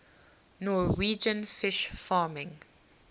norwegian fish farming